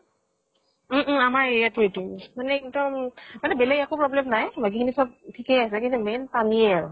উম um আমাৰ area টো এইটোয়ে মানে এক্দম মানে বেলেগ একো problem নাই। বাকী খিনি চব ঠিকে আছে, কিন্তু main পানীয়ে আৰু।